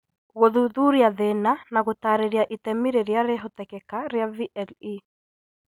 Gũthuthuria thĩna na gũtaarĩria itemi rĩrĩa rĩhotekeka rĩa VLE